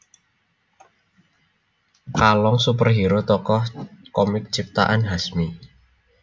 Kalong superhero tokoh komik ciptaan Hasmi